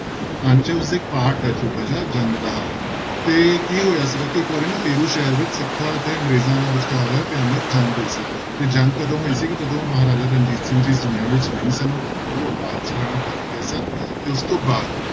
ਅੰਸ਼ ਹੈ ਉਸਦਾ part ਹੈ ਛੋਟਾ ਜਿਹਾ ਜੰਗ ਦਾ ਹਾਲ ਤੇ ਕੀ ਹੋਇਆ ਸੀਗਾ ਕਿ ਇੱਕ ਵਾਰੀ ਨਾ ਫੇਰੂ ਸ਼ਹਿਰ ਵਿੱਚ ਸਿੱਖਾਂਂ ਅਤੇ ਅੰਗਰੇਜ਼ਾਂ ਵਿਚਕਾਰ ਭਿਆਨਕ ਜੰਗ ਹੋਈ ਸੀ ਤੇ ਜੰਗ ਕਦੋਂ ਹੋਈ ਸੀਗੀ ਜਦੋਂ ਮਹਾਰਾਜਾ ਰਣਜੀਤ ਸਿੰਘ ਜੀ ਇਸ ਦੁਨੀਆਂ ਵਿੱਚ ਨਹੀਂ ਸਨ, ਉਹ ਅਕਾਲ ਚਲਾਣਾ ਕਰ ਗਏ ਸਨ ਤੇ ਉਸ ਤੋਂ ਬਾਅਦ